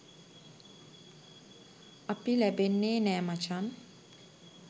අපි ලැබෙන්නෙ නැ මචන්.